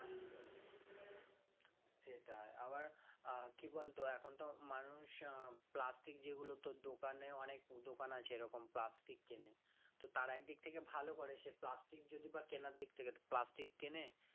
সেটাই আবার আহ কি বলতো এখন তো মানুষ আহ plastic যেগুলো তোর দোকানে অনেক দোকান আছে এরকম plastic কেনে তো তারা একদিক থেকে ভালো করে সে plastic যদি বা কেনার দিক থেকে plastic কেনে